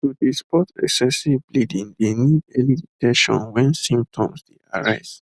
to dey spot excessive bleeding dey need early detection wen symptoms dey arise